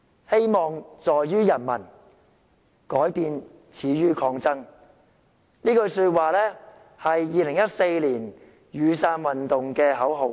"希望在於人民，改變始於抗爭"，這句說話是2014年雨傘運動的口號。